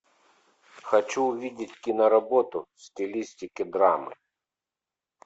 хочу увидеть киноработу в стилистике драмы